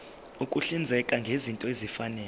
ukuhlinzeka ngezinto ezifanele